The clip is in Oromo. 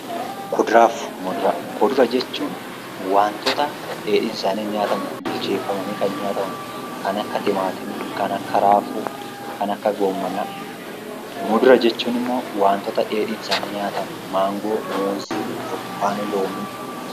Kuduraa fi muduraa Kudura jechuun waantota dheedhiin isaanii hin nyaatamne bilcheeffamanii kan nyaataman kan akka timaatimii, kan akka raafuu, kan akka goommanaa. Mudura jechuun immoo waantota dheedhiin isaanii nyaataman: maangoo, muuzii, burtukaana, loomii...